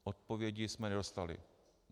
Odpovědi jsme nedostali.